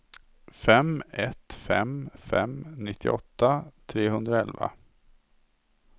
fem ett fem fem nittioåtta trehundraelva